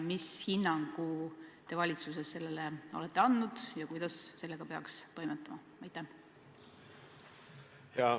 Mis hinnangu te valitsuses sellele olete andnud ja kuidas sellega peaks toimetama?